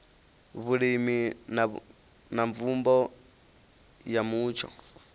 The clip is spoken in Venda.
vhulimi na mvumbo ya mutsho